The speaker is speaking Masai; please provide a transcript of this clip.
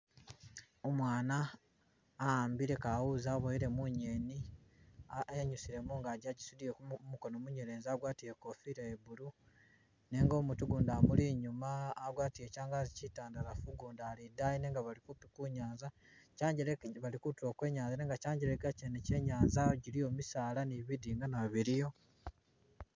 Umwana ahambile kawuuzi abowele munyeni enyusile mungagi agisudile kumukono munyelezi agwatile ikofila ye blue nenga umutu gundi zimuli inyuma agwatile kyangazi kyitandalafu gundi ali idayi nenga bali kupi kunyanza kyangelenka bali kutulo kwenyanza nenga kyangeleka kyene kyenyanza giliyo misaala ni bidinga nbyo biliyo.